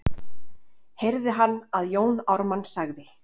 heyrði hann að Jón Ármann sagði.